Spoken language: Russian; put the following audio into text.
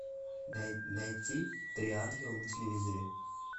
найти три ангела на телевизоре